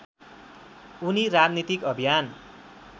उनी राजनीतिक अभियान